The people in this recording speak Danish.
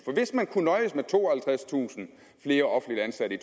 hvis man kunne nøjes med tooghalvtredstusind flere offentligt ansatte i